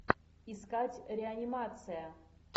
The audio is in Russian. искать реанимация